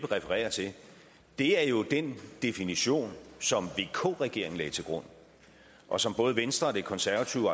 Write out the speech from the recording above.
refererer til er jo den definition som vk regeringen lagde til grund og som både venstre og det konservative